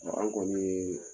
an kɔni ye